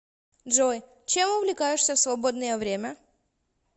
джой чем увлекаешься в свободное время